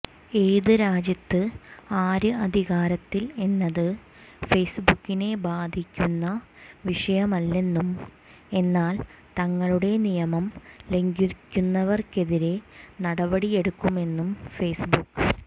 ഏത് രാജ്യത്ത് ആര് അധികാരത്തിൽ എന്നത് ഫേസ്ബുക്കിനെ ബാധിക്കുന്ന വിഷയമല്ലെന്നും എന്നാൽ തങ്ങളുടെ നിയമം ലംഘിക്കുന്നവർക്കെതിരെ നടപടിയെടുക്കുമെന്നും ഫേസ്ബുക്ക്